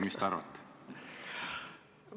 Mis te arvate?